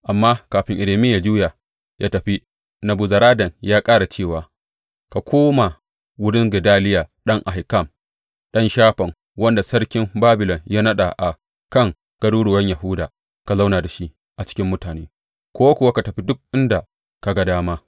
Amma, kafin Irmiya yă juya yă tafi, Nebuzaradan ya ƙara da cewa, Ka koma wurin Gedaliya ɗan Ahikam, ɗan Shafan, wanda sarkin Babilon ya naɗa a kan garuruwan Yahuda, ka zauna da shi a cikin mutane, ko kuwa ka tafi duk inda ka ga dama.